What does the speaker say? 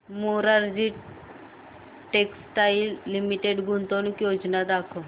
Morarji textiles limited गुंतवणूक योजना दाखव